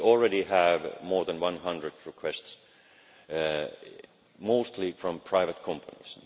We already have more than 100 requests, mostly from private companies.